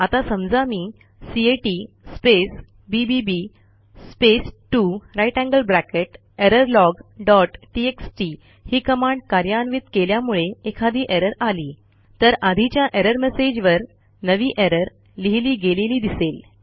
आता समजा मी cat space B B B space 2 greater than sign error log dot TXT ही कमांड कार्यान्वित केल्यामुळे एखादी एरर आली तर आधीच्या एरर मेसेज वर नवी एरर लिहिली गेलेली दिसेल